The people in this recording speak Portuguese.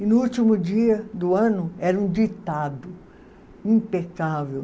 E no último dia do ano era um ditado impecável.